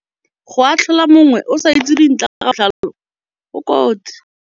Go atlhola mongwe o sa itse dintlha ka botlalo go kotsi.